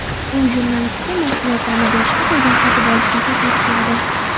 U jurnalistga mahsulotlarni boshqa joydan sotib olishni taklif qiladi.